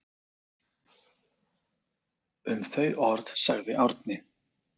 Um þau orð sagði Árni: